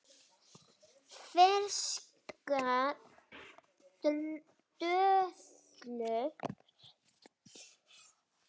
Ferskar döðlur